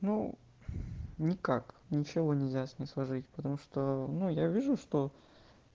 ну никак ничего нельзя с ней сложить потому что ну я вижу что